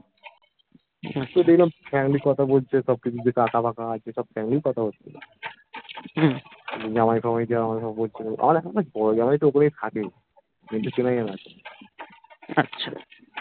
দেখলাম family কথা বলছে সবকিছু যে কাকা বাকা সব family কথা হচ্ছে জামাই তামাই যা আমাকে সব বলছিলো আবার এখন না বোরো জামাই টার ওপরে থাকে